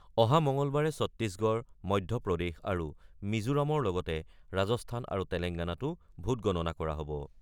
অহা মঙলবাৰে ছট্টিশগড়, মধ্যপ্ৰদেশ আৰু মিজোৰামৰ লগতে ৰাজস্থান আৰু তেলেংগানাতো ভোট গণনা কৰা হব।